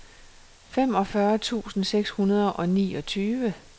femogfyrre tusind seks hundrede og niogtyve